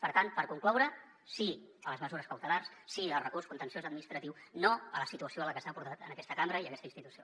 per tant per concloure sí a les mesures cautelars sí al recurs contenciós administratiu no a la situació a la que s’ha portat aquesta cambra i aquesta institució